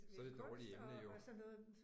Så er det et dårligt emne jo